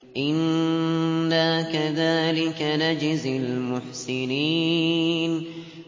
إِنَّا كَذَٰلِكَ نَجْزِي الْمُحْسِنِينَ